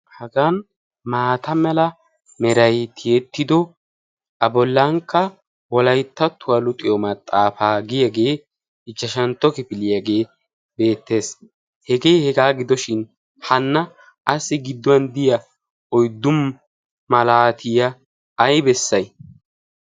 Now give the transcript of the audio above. Hagan maata mala merayi tiyettido a bollankka wolayttattuwa luxiyo maxaafaa giyagee ichchashantto kifiliyagee beettes. Hegee hegaa gidoshin hanna qassi gidduwan de"iya oyddu malaatiya ay bessayi?